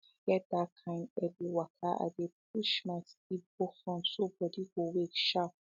if i get that kain early waka i dey push my sleep go front so body go wake sharp